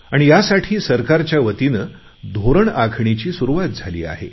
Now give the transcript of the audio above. आणि यासाठी सरकारच्यावतीने धोरण आखणीची सुरुवात झाली आहे